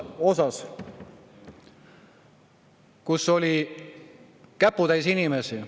Seal oli käputäis inimesi.